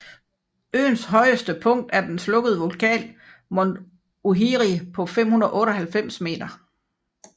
Øens højeste punkt er den slukkede vulkan Mont Ohiri på 598 meter